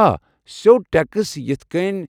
آ، سیوٚد ٹٮ۪کس، یِتھ کٔنۍ